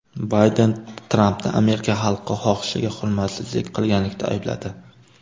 Bayden Trampni Amerika xalqi xohishiga hurmatsizlik qilganlikda aybladi.